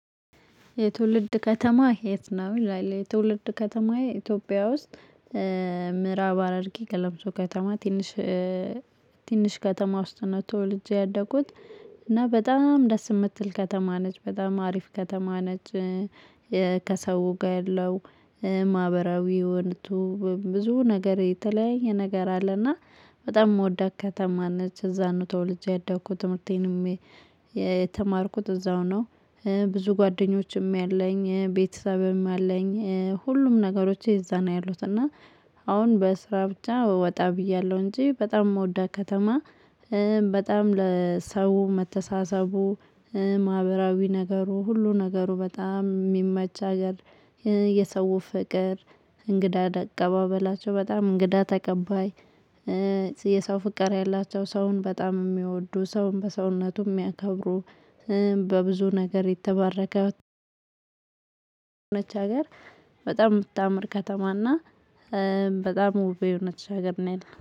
የትውልድ ከተማህ የት? ነው ይላል የትውልድ ከተማዬ ኢትዮጵያ ውስጥ ምዕራብ ሀረርጌ ገለምሶ ከተማ ቲንሽ ቲንሽ ከተማ ውስጥ ነው ተወልጄ ያደኩት እና በጣም ደስ ምትል ከተማ ነች በጣም አሪፍ ከተማ ነች። ከሰው ጋ ያለው ማህበራዊ ሁነቱ ብዙ ነገር የተለያየ ነገር አለና በጣም ምወዳት ከተማ ነች። እዛ ነው ተወልጄ ያደኩት ትምርቴንም የተማርኩት እዛው ነው። ብዙ ጓደኞችም ያለኝ ቤተሰብም ያለኝ ሁሉም ነገሮቼ እዛ ያሉት እና አሁን በስራ ብቻ ወጣ ብያለው እንጂ በጣም ምወዳት ከተማ። በጣም ለሰው መተሳሰቡ ማህበራዊ ነገሩ ሁሉ ነገሩ በጣም ሚመች ሀገር። የሰው ፍቅር እንግዳ አቀባበላቸው በጣም እንግዳ ተቀባይ። የሰው ፍቅር ያላቸው ሰውን በጣም ሚወዱ ሰውን በሰውነቱ ሚያከብሩ በብዙ ነገር የተባረከ ነች። ሀገር በጣም ምታምር ከተማና በጣም ውብ የሆነች ሀገር ነው። ያለን